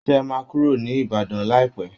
ṣé ẹ máa kúrò ní Ìbàdàn láìpẹ́